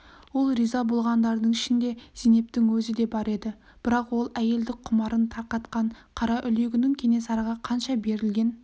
сол риза болғандардың ішінде зейнептің өзі де бар еді бірақ ол әйелдік құмарын тарқатқан қараүлегінің кенесарыға қанша берілген